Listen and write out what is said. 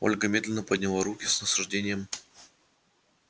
ольга медленно подняла руки с наслаждением